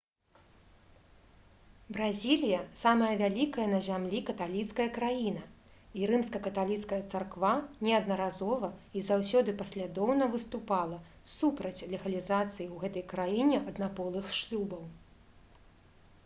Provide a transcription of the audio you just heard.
бразілія самая вялікая на зямлі каталіцкая краіна і рымска-каталіцкая царква неаднаразова і заўсёды паслядоўна выступала супраць легалізацыі ў гэтай краіне аднаполых шлюбаў